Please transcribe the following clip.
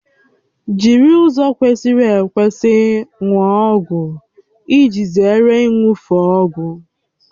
Jiri ụzọ kwesịrị ekwesị ṅụọ ọgwụ iji zere iṅufe ọgwụ